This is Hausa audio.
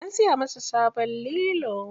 An siya masa sabon lilo.